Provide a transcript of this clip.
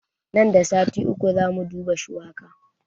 Nan da sati uku zamu duba shuwaka